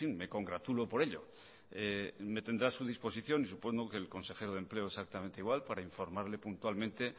me congratulo por ello me tendrá a su disposición y supongo que el consejero de empleo exactamente igual para informarle puntualmente